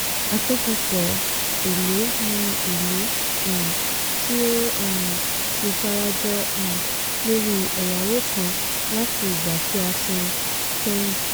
àkójọpọ̀ èlé ni èlé um tí ó um ti sarajọ um lórí ẹ̀yáwó kan láti ìgbà tí a san kẹ́yìn.